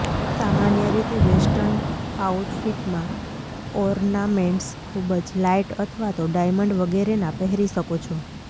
સામાન્ય રીતે વેસ્ટર્ન આઉટફીટમાં ઓર્નામેન્ટ્સ ખુબ જ લાઈટ અથવા તો ડાયમંડ વગેરેના પહેરી શકો છો